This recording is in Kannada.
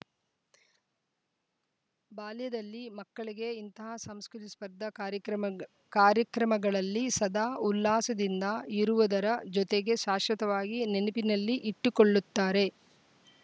ಬಾಲ್ಯದಲ್ಲಿ ಮಕ್ಕಳಿಗೆ ಇಂತಹ ಸಾಂಸ್ಕೃತಿಕ ಸ್ಪರ್ಧ ಕಾರ್ಯಕ್ರಮಗ್ ಕಾರ್ಯಕ್ರಮಗಳಲ್ಲಿ ಸದಾ ಉಲ್ಲಾಸದಿಂದ ಇರುವುದರ ಜೊತೆಗೆ ಶಾಶ್ವತವಾಗಿ ನೆನಪಿನಲ್ಲಿ ಇಟ್ಟುಕೊಳ್ಳುತ್ತಾರೆ